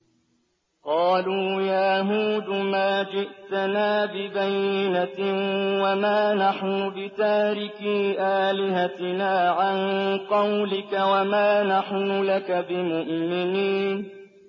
قَالُوا يَا هُودُ مَا جِئْتَنَا بِبَيِّنَةٍ وَمَا نَحْنُ بِتَارِكِي آلِهَتِنَا عَن قَوْلِكَ وَمَا نَحْنُ لَكَ بِمُؤْمِنِينَ